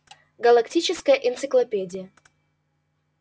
галактическая энциклопедия